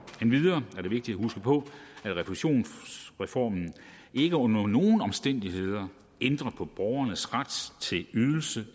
endvidere er det vigtigt at huske på at refusionsreformen ikke under nogen omstændigheder ændrer på borgernes ret til ydelse